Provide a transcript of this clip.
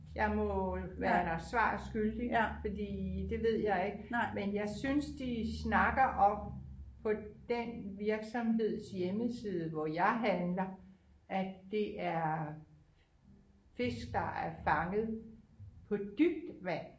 Jeg må være dig svar skyldig fordi det ved jeg ikke men jeg synes de snakker om på den virksomheds hjemmeside hvor jeg handler at det er fisk der er fanget på dybt vand